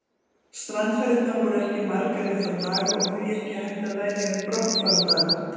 Strandferðirnar voru ekki margar í þá daga og því ekki hægt að velja um brottfarardaga.